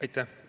Aitäh!